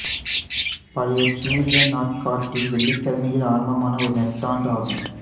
பழைய ஜூலியன் நாட்காட்டியில் வெள்ளிக்கிழமையில் ஆரம்பமான ஒரு நெட்டாண்டு ஆகும்